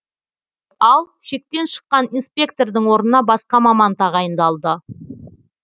ал шектен шыққан инспектордың орнына басқа маман тағайындалды